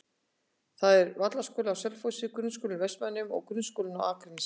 Það eru Vallaskóli á Selfossi, Grunnskóli Vestmannaeyja og Grundaskóli á Akranesi.